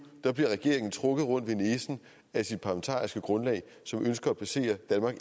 bliver regeringen trukket rundt ved næsen af sit parlamentariske grundlag som ønsker at placere danmark